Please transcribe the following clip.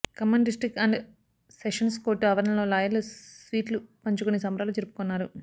Khammam district and sessions court ఆవరణలో లాయర్లు స్వీట్లు పంచుకొని సంబురాలు జరుపుకున్నారు